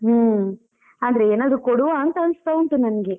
ಹ್ಮ್, ಆದ್ರೆ ಏನಾದ್ರು ಕೊಡುವಾಂತ ಅನಿಸ್ತಾ ಉಂಟು ನಂಗೆ.